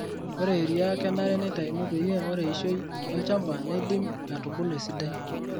Ore eria kenare neitayuni peyie ore eishoi olchamba neidim atubulu esidai.